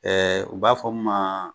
Ɛɛ u b'a fɔ mun ma